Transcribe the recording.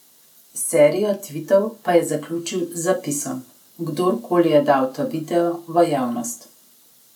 Serijo tvitov pa je zaključil z zapisom: 'Kdorkoli je dal ta video v javnost ...